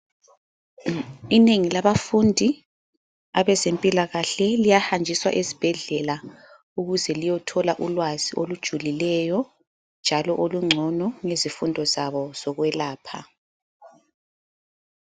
Inengi labafundi abezempilakahle liyahanjiswa esibhedlela ukuze liyothola ulwazi olujulileyo njalo olungcono ngezifundo zabo zokwelapha.